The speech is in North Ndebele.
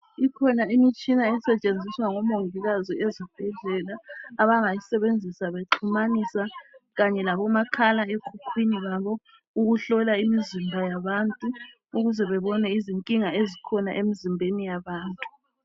Ikhona imitshina esetshenziswa ngomongikazi ezibhedlela abangayisebenzisa bexhumanisa kanye labomakhala enkukhwini babo ukuhlola imizimba yabantu ukuze babone izinkinga ezikhona emzimbeni yabantu.